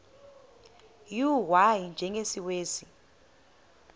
u y njengesiwezi